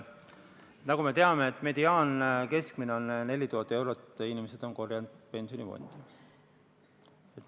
Nagu me teame, mediaansumma, mis inimesed on kogunud pensionifondi, on 4000 eurot.